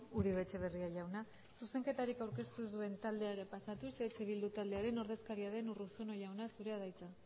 uribe etxebarria jauna zuzenketarik aurkeztu ez duen taldeari pasatuz eh bildu taldearen ordezkaria den urruzuno jauna zurea da hitza